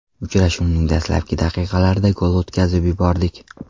Uchrashuvning dastlabki daqiqalarida gol o‘tkazib yubordik.